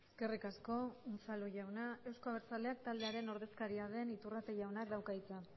eskerrik asko unzalu jauna euzko abertzaleak taldearen ordezkaria den iturrate jaunak dauka hitza